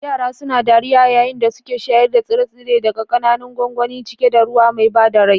Yara suna dariya yayin da suke shayar da tsire-tsire daga ƙananan gwangwani cike da ruwa mai ba da rai.